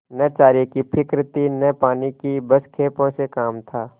न चारे की फिक्र थी न पानी की बस खेपों से काम था